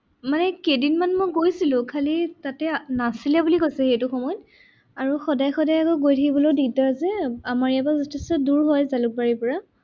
মানে কেইদিনমান মই গৈছিলো খালি তাতে নাছিলে বুলি কৈছে সেইটো সময়ত। আৰু সদায় সদায় আকৌ গৈ থাকিবও দিগদাৰ যে আমাৰ ইয়াৰ পৰাও যথেষ্ট দূৰ হয় জালুকবাৰীৰ পৰা।